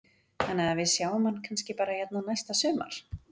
Þannig að við sjáum hann kannski bara hérna næsta sumar?